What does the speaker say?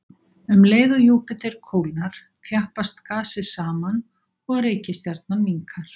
Um leið og Júpíter kólnar, þjappast gasið saman og reikistjarnan minnkar.